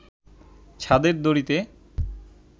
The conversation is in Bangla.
ছাদের দড়িতে